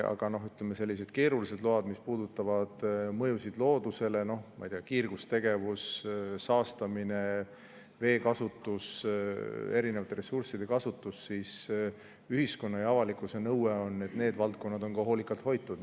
Aga, ütleme, sellised keerulised load, mis puudutavad mõjusid loodusele, noh, ma ei tea, kiirgustegevus, saastamine, veekasutus, erinevate ressursside kasutus – ühiskonna ja avalikkuse nõue on, et need valdkonnad on ka hoolikalt hoitud.